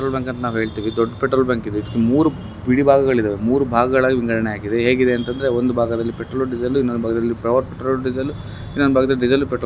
ಅಂತ ನಾವ್ ಹೇಳ್ತಿವಿ ದೊಡ್ಡ್ ಪೆಟ್ರೋಲ್ ಬ್ಯಾಂಕ್ ಇದು. ಇದಕ್ಕ್ ಮೂರ್ ಬಿಡಿಭಾಗಗಳಿವೆ. ಮೂರು ಭಾಗಗಳಾಗಿ ವಿಂಗಡಣೆ ಆಗಿದೆ. ಹೇಗಿದೆ ಅಂತಂದ್ರೆ ಒಂದು ಭಾಗದಲ್ಲಿ ಪೆಟ್ರೋಲು ಡೆಸೆಲ್ಲು ಇನ್ನೊಂದು ಭಾಗದಲ್ಲಿ ಪೆಟ್ರೋಲು ಡೀಸೆಲ್ಲು ಇನ್ನೊಂದು ಭಾಗದಲ್ಲಿ ಡೀಸೆಲ್ಲು ಪೆಟ್ರೋಲ್ --